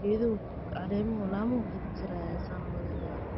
geeduhu caleemuhu, laamuhu, kajar jaraya saan umaleynaayo.